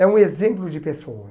É um exemplo de pessoa.